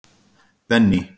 Benný